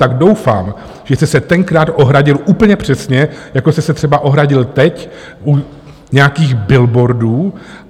Tak doufám, že jste se tenkrát ohradil úplně přesně, jako jste se třeba ohradil teď, u nějakých billboardů.